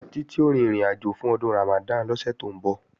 Títí ó rin ìrìnàjò fún Ọdún Ramadan lọ́sẹ̀ tó ń bọ̀